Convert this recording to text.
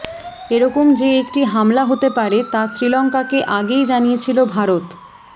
এরকম যে একটি হামলা হতে পারে তা শ্রীলঙ্কাকে আগেই জানিয়েছিল ভারত